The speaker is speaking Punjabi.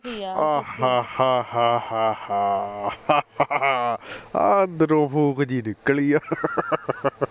ਆਹਾ ਹਾ ਹਾ ਹਾ ਹਾ ਹਾ ਆਹ ਅੰਦਰੋਂ ਫੂਕ ਜੀ ਨਿਕਲੀ ਆ